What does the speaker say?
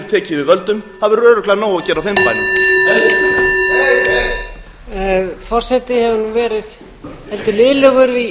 tekið við völdum það verður örugglega nóg að gera á þeim bænum heyr heyr